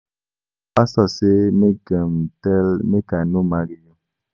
Our pastor say God um tell am make I no marry you